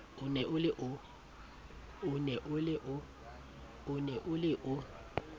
o ne o le o